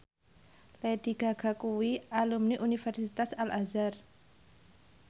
Lady Gaga kuwi alumni Universitas Al Azhar